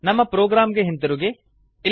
ನಮ್ಮ ಪ್ರೊಗ್ರಾಮ್ ಗೆ ಹಿಂದಿರುಗಿ